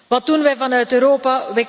Wat doen wij vanuit Europa?